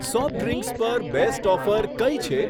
Soft drinks પર best offer કઈ છે?